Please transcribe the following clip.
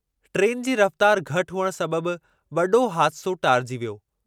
Train जी रफ़्तार घटि हुअण सबबि वॾो हादिसो टारिजी वियो।